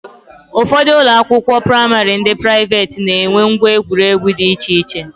Ụfọdụ ụlọakwụkwọ praịmarị ndị praiveeti na-enwe ngwa egwuregwu di iche iche